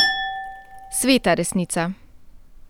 Sveta resnica!